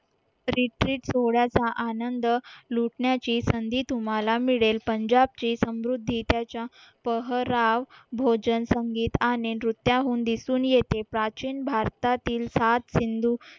retreat सोहळ्याचा आनंद लुटण्याची संधी तुम्हाला मिळेल पंजाबचे समृद्धी त्याच्या पहराव भोजन संगीत आणि नृत्याहून दिसून येते प्राचीन भारतातील सात सिंधू